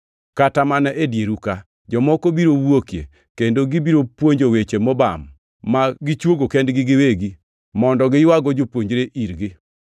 Kata mana e dieru ka, jomoko biro wuokie kendo gibiro puonjo weche mobam ma gichwogo kendgi giwegi mondo giywago jopuonjre irgi.